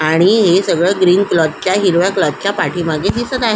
आणि हे सगळ ग्रीन कलर च्या हिरव्या कलर च्या पाठी मागे दिसत आहे.